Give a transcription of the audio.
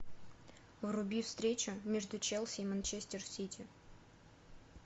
вруби встречу между челси и манчестер сити